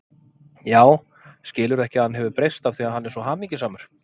Já, skilurðu ekki að hann hefur breyst af því að hann er svo hamingjusamur.